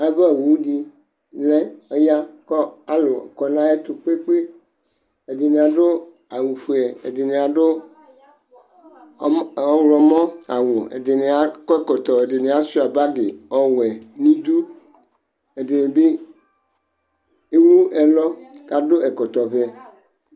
Avawu dɩ ya kʋ alʋ kɔ nʋ ayʋ ɛtʋ kpe-kpe, ɛdɩnɩ adʋ awʋ fue ɛdɩnɩ adʋ ɔɣlɔmɔ awʋ, ɛdɩnɩ akɔ ɛkɔtɔ, ɛdɩnɩ asʋɩa bagɩ ɔwɛ nʋ idu, ɛdɩnɩ bɩ ewu ɛlɔ, kʋ adʋ ɛkɔtɔ ɔvɛ